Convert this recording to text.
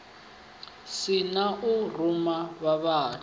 si na u ruma vhavhali